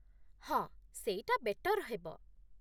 ହଁ ସେଇଟା ବେଟର୍ ହେବ ।